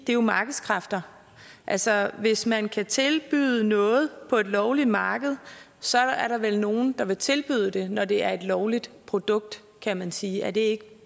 jo markedskræfter altså hvis man kan tilbyde noget på et lovligt marked så er der vel nogen der vil tilbyde det når det er et lovligt produkt kan man sige er det ikke